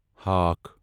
ہاکھ